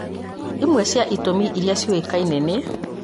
imwe cia itũmi irĩa ciũĩkaine nĩ